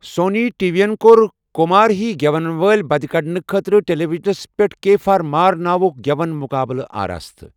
Sony TV ین كو٘ر كُمار ہی گیون وٲلہِ بدِ كڈنہٕ خٲطرٕ ٹیلیوِجنس پیٹھ كے فار ُمار ناوُك گیون مُقابلہٕ آراستہٕ ۔